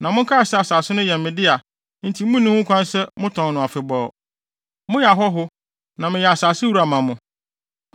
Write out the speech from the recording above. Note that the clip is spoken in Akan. “ ‘Na monkae sɛ asase no yɛ me dea enti munni ho kwan sɛ motɔn no afebɔɔ. Moyɛ ahɔho na meyɛ asase wura ma mo.